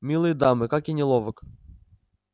милые дамы как я неловок